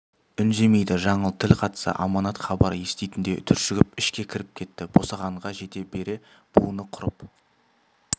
үндемейді жаңыл тіл қатса аманат хабар еститіндей түршігіп ішке кіріп кетті босағаға жете бере буыны құрып